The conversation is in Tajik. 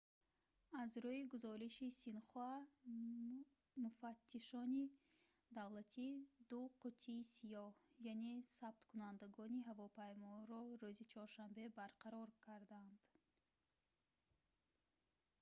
аз рӯи гузориши синхуа муфаттишони давлатӣ ду қуттии сиёҳ яъне сабткунандагони ҳавомайморо рӯзи чоршанбе барқарор карданд